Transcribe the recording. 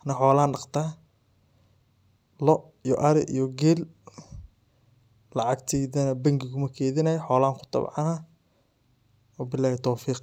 anii xolaan dhaqdaa. loo iyo arii iyo geel lacagteydaana bangi kumaa keydinaayi xolaan kuu tabcaana waa billahi towfiiq.